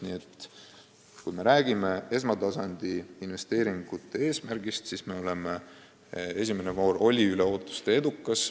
Nii et kui me räägime esmatasandi investeeringute eesmärgist, siis võib öelda, et esimene voor oli üle ootuste edukas.